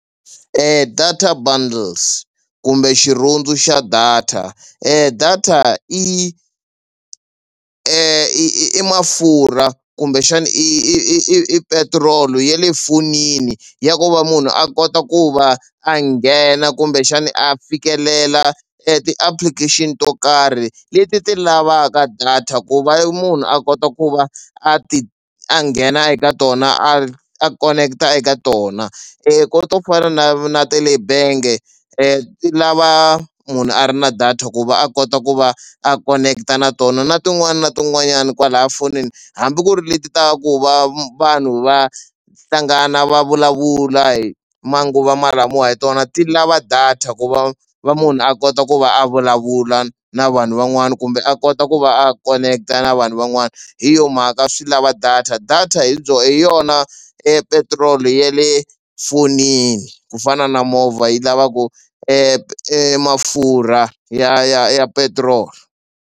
Data bundles kumbe xirhundzu xa data data i i i mafurha kumbexana i i i petrol ya le fonini ya ku va munhu a kota ku va a nghena kumbexani a fikelela e ti-application to karhi leti ti lavaka data ku va munhu a kota ku va a ti a nghena eka tona a a koneketa eka tona to fana na na te le bank ti lava munhu a ri na data ku va a kota ku va a koneketa na tona na tin'wana na tin'wanyana kwalaya fonini hambi ku ri leti ta ku va vanhu va hlangana va vulavula hi manguva lamawa hi tona ti lava data ku va va munhu a kota ku va a vulavula na vanhu van'wani kumbe a kota ku va a koneketa na vanhu van'wana hi yona mhaka swi lava data. Data hi byo hi yona e petiroli ya le fonini ku fana na movha yi lavaku e mafurha ya ya petiroli.